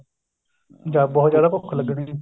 ਜਾਂ ਬਹੁਤ ਜਿਆਦਾ ਭੁੱਖ ਲੱਗਣੀ